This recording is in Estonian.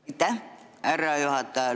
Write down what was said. Aitäh, härra juhataja!